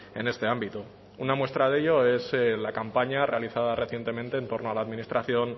en este ámbito una muestra de ello es la campaña realizada recientemente en torno a la administración